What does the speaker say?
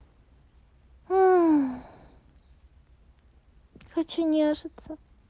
уу хочу нежиться